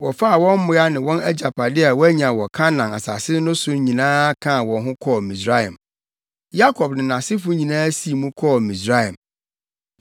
Wɔfaa wɔn mmoa ne wɔn agyapade a wɔanya wɔ Kanaan asase so no nyinaa kaa wɔn ho kɔɔ Misraim. Yakob ne nʼasefo nyinaa sii mu kɔɔ Misraim.